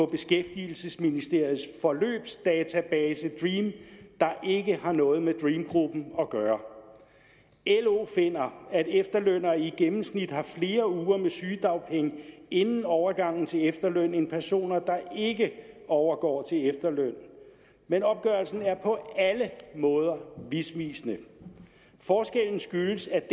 af beskæftigelsesministeriets forløbsdatabase dream der ikke har noget med dream gruppen at gøre lo finder at efterlønnere i gennemsnit har flere uger med sygedagpenge inden overgangen til efterløn end personer der ikke overgår til efterløn men opgørelsen er på alle måder misvisende forskellen skyldes at